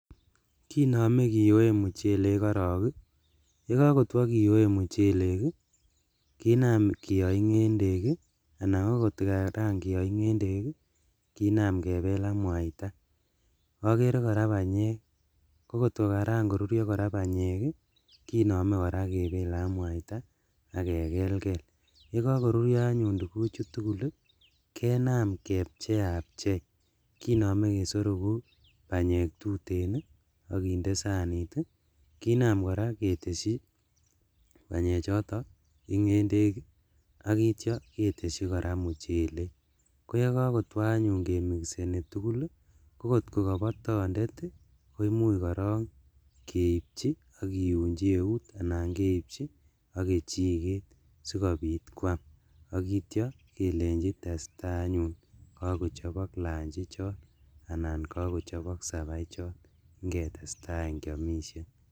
Kinome kiyoe muchelek korong ii, yekokotwo kiyoe muchelek ii , kinam kiyo ingendek ii anan kokotkaran koyo ingendek ii kinam kebel ak mwaita, okere koraa banyek kokotkokaran korurio banyek ii kinome koraa kebele ak mwaita ak kekelkel, yekokorurio anyun tuguchu tugul ii kinam kepcheachei, kinome kesororuk banyek tuten ii, kinam koraa keteshi banyechoto ingendek ak ityo keteshi koraa muchelek, ko yekokotwo anyun kemikiseni tugul ii kokot kobotondet kinam korong keipchi ak kiunchi eut anan keibchi ok kechiket sikobit kwam ak ityo kelenchi testaa anyun kokochobok lunch ichon anan kokochobok saba uchon ingetesta any kiomishen.